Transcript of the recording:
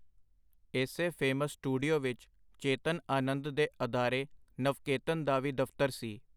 ਏਸੇ famous studio ਵਿਚ ਚੇਤਨ ਆਨੰਦ ਦੇ ਅਦਾਰੇ ਨਵਕੇਤਨ ਦਾ ਵੀ ਦਫਤਰ ਸੀ.